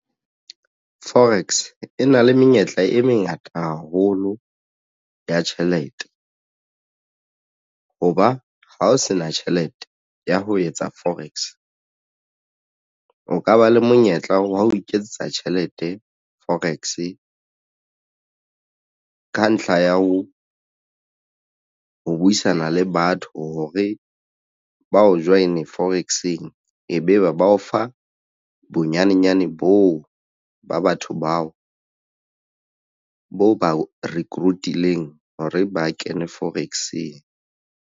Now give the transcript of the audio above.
Forex e na le menyetla e mengata haholo ya tjhelete. Hoba ha o se na tjhelete ya ho etsa forex o ka ba le monyetla wa ho iketsetsa tjhelete forex ka ntlha ya ho buisana le batho hore ba o join forex-eng e be be ba o fa bonyanenyane boo ba batho bao bo ba recruit-ileng hore ba kene forex-eng.